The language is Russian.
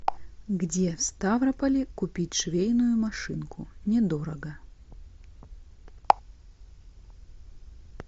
где в ставрополе купить швейную машинку недорого